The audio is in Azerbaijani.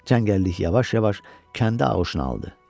Cəngəllik yavaş-yavaş kəndi ağuşuna aldı.